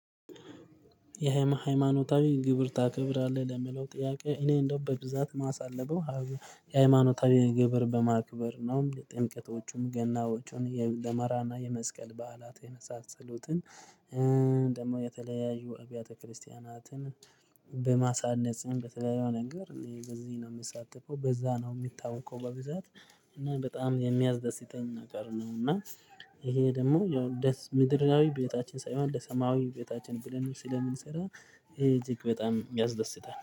የሃይማኖታዊ ግብር ታከብራለህ ለሚለው ጥያቄ እኔ እንደው በብዛት የማሳልፈው። የሃይማኖታዊ ግብር በማክበር ነው የጥምቀቶቹም ገናዎቹን የደመራና የመስቀል በዓላት የመሳሰሉትን። ደግሞ የተለያዩ አብያተ ክርስቲያናትን በማሳነጽም በተለያዩ ነገር በዚህ ነው የምትሳተፈው በዛ ነው የሚታወቀው በብዛት እና በጣም የሚያስደስተኝ ነገር ነው። እና ይሄ ደግሞ ያው ደስ ምድራዊ ቤታችን ሳይሆን ለሰማዊ ቤታችን ብለን ስለምንሰራ። ይቺክ በጣም ያዝደስታል